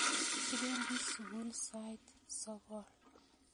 Kipendi sukul sait sogol